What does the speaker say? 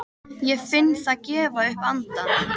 Ég finn það gefa upp andann.